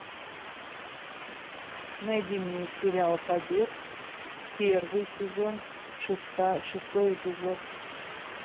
найди мне сериал побег первый сезон шестой эпизод